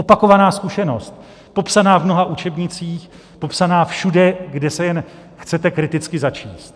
Opakovaná zkušenost, popsaná v mnoha učebnicích, popsaná všude, kde se jen chcete kriticky začíst.